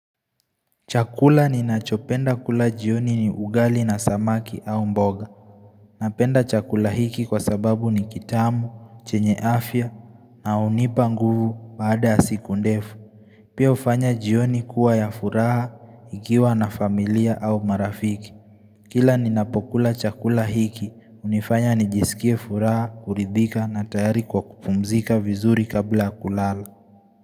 Chakula ninachopenda kula jioni ni ugali na samaki au mboga Napenda chakula hiki kwa sababu ni kitamu, chenye afya na hunipa nguvu baada ya siku ndefu Pia hufanya jioni kuwa ya furaha nikiwa na familia au marafiki Kila ninapokula chakula hiki, hunifanya nijisikie furaha, kuridhika na tayari kwa kupumzika vizuri kabla kulala.